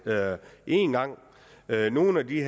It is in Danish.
en gang nogle af de